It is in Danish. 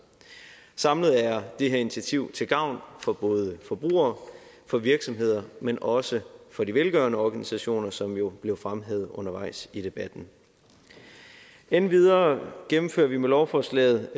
samlet er det her initiativ til gavn for både forbrugere for virksomheder men også for de velgørende organisationer som jo blev fremhævet undervejs i debatten endvidere gennemfører vi med lovforslaget